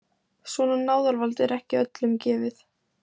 Svona náðarvald er ekki öllum gefið.